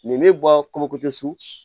Nin bɛ bɔ komi kojɔ su